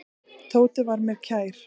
Tóti var mér kær.